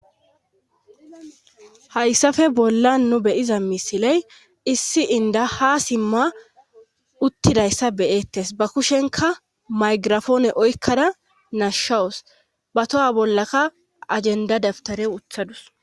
hayssafe bolla nu beyiza misiley issi inda ha simma uttidayssa beyeettes ba kushenka maygirafoone oykkada nashshawus ba toha bollaka ajenda dabtare wuthadus